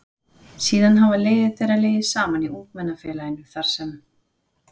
Síðan hafa leiðir þeirra legið saman í Ungmennafélaginu þar sem